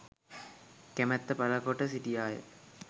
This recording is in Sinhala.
කැමැත්ත පළ කොට සිටියා ය.